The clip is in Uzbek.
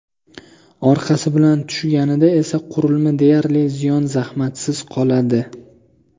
Orqasi bilan tushganida esa qurilma deyarli ziyon-zahmatsiz qoladi.